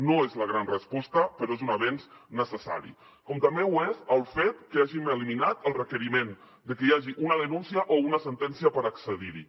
no és la gran resposta però és un avenç necessari com també ho és el fet que hàgim eliminat el requeriment de que hi hagi una denúncia o una sentència per accedir hi